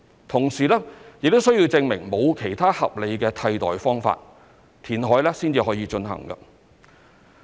同時，亦須證明"沒有其他合理的替代"方法，填海方可進行。